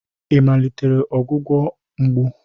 Ị malitere ọgwụgwọ mgbu?